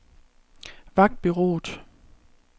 Vagtbureauet